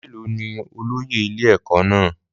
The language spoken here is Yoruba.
Mélòó ni olóyè ilé-ẹ̀kọ́ náà?